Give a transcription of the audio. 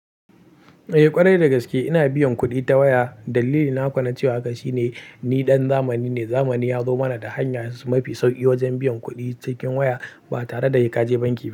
Eh ƙwarai dagaske ina biyan kuɗi ta waya. Dalili na kuwa na cewa haka shine ni ɗan zamani ne. Zamani ya zo mana da hanya mafi sauƙi wajen biyan kuɗi cikin waya ba tare da kaje banki ba.